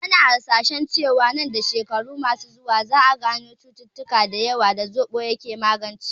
Ana hasashen cewa a shekaru masu zuwa, za a gano cututtuka da yawa da zoɓo ke magancewa